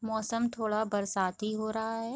मौसम थोड़ा बरसाती हो रहा है।